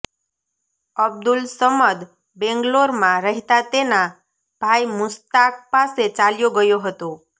અબ્દુલસમદ બેંગ્લોરમાં રહેતા તેના ભાઇ મુસ્તાક પાસે ચાલ્યો ગયો હતો